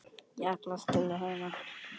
Ég ætlaði að skila henni.